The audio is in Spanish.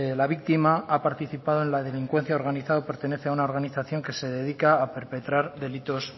la víctima ha participado en la delincuencia organizada o pertenece a una organización que se dedica a perpetrar delitos